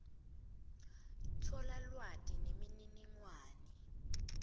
tfola lwati nemininingwane